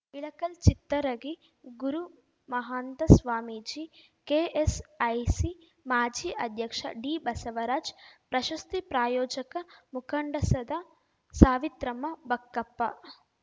Ilkal Chittaragi Gurumahanta Swamiji KSIC ಮಾಜಿ ಅಧ್ಯಕ್ಷ ಡಿಬಸವರಾಜ್ ಪ್ರಶಸ್ತಿ ಪ್ರಾಯೋಜಕ ಮುಕಂಡಸದ ಸಾವಿತ್ರಮ್ಮ ಬಕ್ಕಪ್ಪ